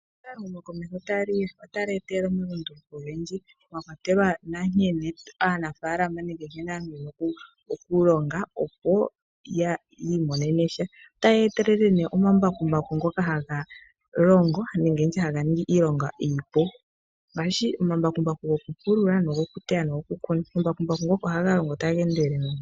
Ehumokomeho otali etelele omalunduluko oyendji, mwa kwatelwa nkene aanafalama nenge nkene aantu taya vulu okulonga opo ya I monenesha. Oyayi etelele nee omambakumbaku ngoka haga longo nenge ndi tye ngoka haga ningi iilonga iipu, ngaashi omambakumbaku go kuteya, gokulonga ,nogo kuteya. Omambakumbaku ngoka ohaga longo taga endelele.